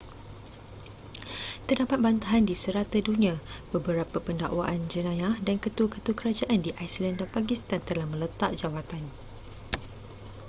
terdapat bantahan di serata dunia beberapa pendakwaan jenayah dan ketua-ketua kerajaan di iceland dan pakistan telah meletak jawatan